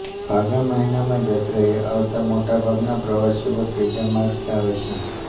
ફાગણ મહિનામાં જાત્રાએ આવતા મોટા ભાગના પ્રવાસીઓ ત્રીજા માર્ગે આવે છે